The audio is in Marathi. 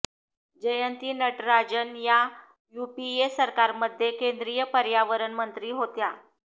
जयंती नटराजन या यूपीए सरकारमध्ये केंद्रीय पर्यावरण मंत्री होत्या